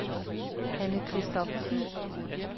Hanne Christophersen